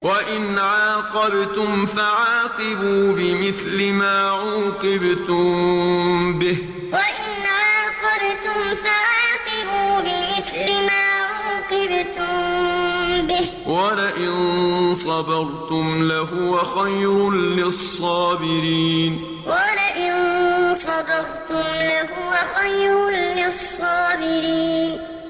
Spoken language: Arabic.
وَإِنْ عَاقَبْتُمْ فَعَاقِبُوا بِمِثْلِ مَا عُوقِبْتُم بِهِ ۖ وَلَئِن صَبَرْتُمْ لَهُوَ خَيْرٌ لِّلصَّابِرِينَ وَإِنْ عَاقَبْتُمْ فَعَاقِبُوا بِمِثْلِ مَا عُوقِبْتُم بِهِ ۖ وَلَئِن صَبَرْتُمْ لَهُوَ خَيْرٌ لِّلصَّابِرِينَ